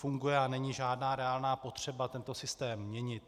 Funguje a není žádná reálná potřeba tento systém měnit.